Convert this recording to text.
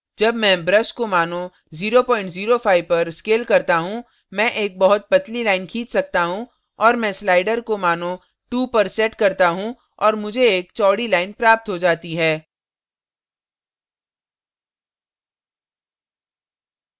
जब मैं brush को मानों 005 पर scale करता हूँ मैं एक बहुत पतली line खींच सकता हूँ और मैं slider को मानों 2 पर set करता हूँ और मुझे एक चौड़ी line प्राप्त हो जाती है